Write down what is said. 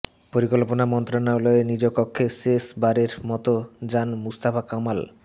পরিকল্পনা মন্ত্রণালয়ে নিজ কক্ষে শেষবারের মতো যান মুস্তফা কামাল